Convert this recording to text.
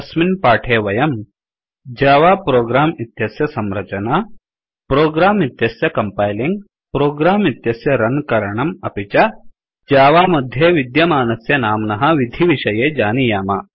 अस्मिन् पाठे वयं जावा प्रोग्राम इत्यस्य संरचना प्रोग्राम इत्यस्य कंपैलिंग प्रोग्राम इत्यस्य रन करणम् अपि च जावा मध्ये विद्यमानस्य नाम्नः विधिविषये जानीयाम